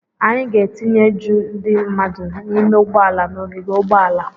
Anyị ga-etinye ju ndị mmadụ n'ime ụgbọala n'ogige ụgbọala.